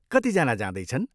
कति जना जाँदैछन्?